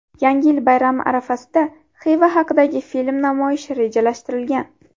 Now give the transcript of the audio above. Yangi yil bayrami arafasida Xiva haqidagi film namoyishi rejalashtirilgan.